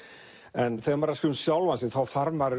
en þegar maður er að skrifa um sjálfan sig þá þarf maður